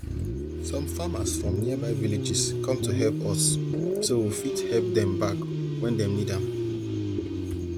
some farmers from nearby villages come to help us so we fit help dem back when dem need am